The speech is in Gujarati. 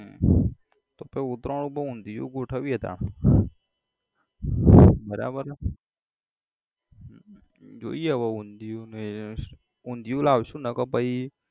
હમ તો પછી ઉતરાયણ પર ઊંધીયું ગોઠવીએ તાણ બરાબર છે જોઈએ હવ ઊંધીયું ને ઊંધીયું લાવસુ નકર પછી